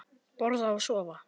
Borða og sofa.